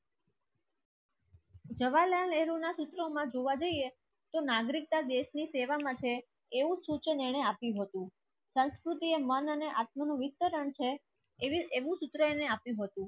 જવાલાલ નેહરુના સિસ્ટમમાં જોવા જઈએ. તો નાગરિકતા દેશની સેવા માટે એવું સૂચન એણે આપ્યું હતું સંસ્કૃતિ એ મન અને આટલું વિસ્તરણ છે.